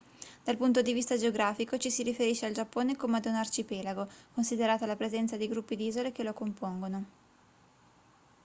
dal punto di vista geografico ci si riferisce al giappone come ad un arcipelago considerata la presenza di gruppi di isole che lo compongono